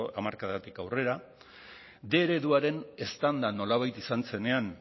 hamarkadatik aurrera bostehun ereduaren eztanda nolabait izan zenean